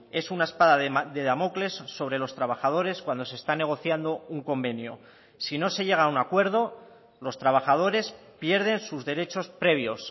es una espada de damocles sobre los trabajadores cuando se está negociando un convenio si no se llega a un acuerdo los trabajadores pierden sus derechos previos